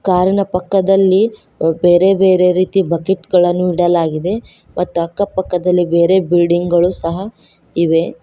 ಕಾರಿನ ಪಕ್ಕದಲ್ಲಿ ಅ ಬೇರೆ ಬೇರೆ ರೀತಿ ಬಕೀಟ್ ಗಳನ್ನು ಇಡಲಾಗಿದೆ ಮತ್ತ ಅಕ್ಕ ಪಕ್ಕದಲ್ಲಿ ಬೇರೆ ಬಿಲ್ಡಿಂಗ್ ಗಳು ಸಹ ಇವೆ.